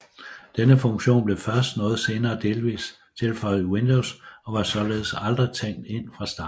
Denne funktion blev først meget senere delvist tilføjet Windows og var således aldrig tænkt ind fra starten